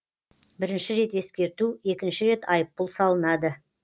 бірінші рет ескерту екінші рет айыппұл салынады